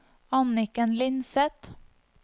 Anniken Lindseth